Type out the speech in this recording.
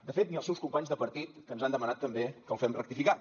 de fet ni els seus companys de partit que ens han demanat també que el fem rectificar